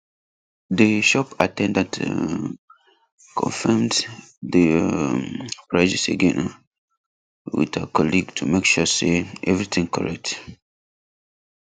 the shop at ten dant um confirm the um prices again um with her colleague to make sure say everything correct